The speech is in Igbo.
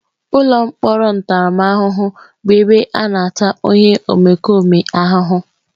Ụlọ mkpọrọ ntaramahụhụ bụ ebe a na-ata onye omekome ahụhụ.